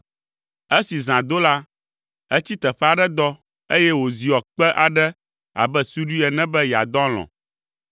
Esi zã do la, etsi teƒe aɖe dɔ, eye wòziɔ kpe aɖe abe suɖui ene be yeadɔ alɔ̃.